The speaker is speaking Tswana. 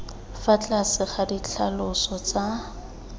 fa tlase ga ditlhaloso tsa